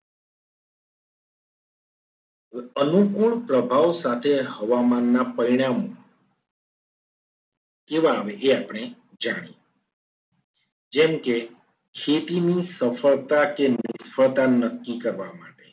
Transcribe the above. હવે અનુકૂળ પ્રભાવ સાથે હવામાન ના પરિણામો એ બાબતે આપણે જાણીએ. જેમકે ખેતીનું સફળતા કે નિષ્ફળતા નક્કી કરવા માટે